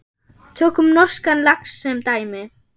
Tökum norskan lax sem dæmi.